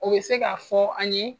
O bɛ se ka fɔ an ye